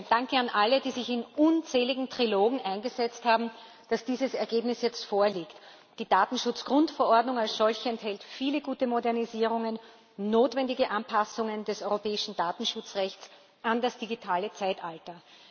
Danke an alle, die sich in unzähligen Trilogen eingesetzt haben, dass dieses Ergebnis jetzt vorliegt. Die Datenschutzgrundverordnung als solche enthält viele gute Modernisierungen, notwendige Anpassungen des europäischen Datenschutzrechts an das digitale Zeitalter.